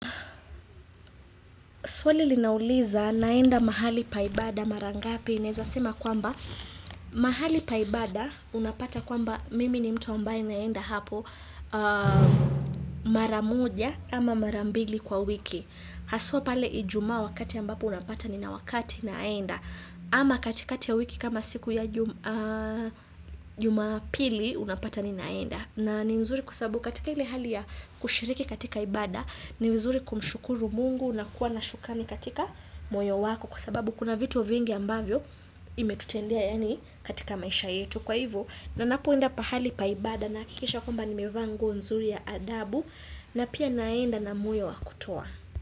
Swali linauliza naenda mahali paibada marangapi naezasema kwamba mahali paibada unapata kwamba mimi ni mtu ambaye naenda hapo maramuja ama marambili kwa wiki. Haswa pale ijumaa wakati ambapo unapata ni na wakati naenda ama katika kati ya wiki kama siku ya jum a jumapili unapata ni naenda. Na ni nzuri kusabu katika ile hali ya kushiriki katika ibada ni vizuri kumshukuru Mungu na kuwa na shukani katika moyo wako kwa sababu kuna vitu vingi ambavyo imetutendea yani katika maisha yetu kwa hivo na napoenda pahali paibada naakikisha kwamba ni mevaa nguo nzuri ya adabu na pia naenda na moyo wakutoa.